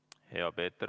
Hea Peeter ...